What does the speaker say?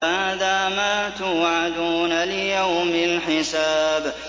هَٰذَا مَا تُوعَدُونَ لِيَوْمِ الْحِسَابِ